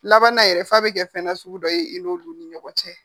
Laban na yɛrɛ fa be kɛ fɛn na sugu dɔ ye i n'olu ni ɲɔgɔn cɛ